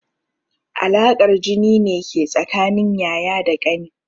Alaƙar jini ne ke tsakanin yaya da ƙani.